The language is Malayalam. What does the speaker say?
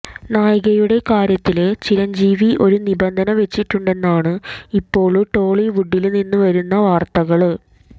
നായികയുടെ കാര്യത്തില് ചിരഞ്ജീവി ഒരു നിബന്ധന വച്ചിട്ടുണ്ടെന്നാണ് ഇപ്പോള് ടോളിവുഡില് നിന്നു വരുന്ന വാര്ത്തകള്